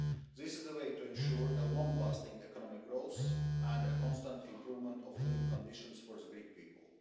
This is the way to ensure long lasting economic growth and a constant improvement of living conditions for the Greek people.